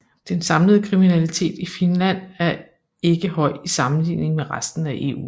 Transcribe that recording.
Den samlede kriminalitet i Finland er ikke høj i sammenligning med resten af EU